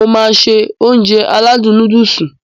Mo máá se Ounjẹ aládùn nóódùsì